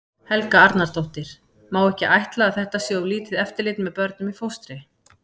Helga Arnardóttir: Má ekki ætla að þetta sé of lítið eftirlit með börnum í fóstri?